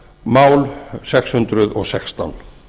mál sex hundruð og sextán